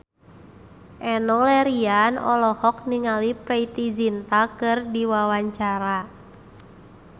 Enno Lerian olohok ningali Preity Zinta keur diwawancara